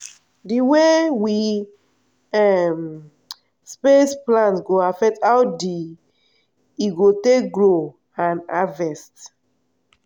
d way we um space plant go affect how d e go take grow and harvest.